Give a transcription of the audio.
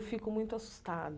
Fico muito assustada.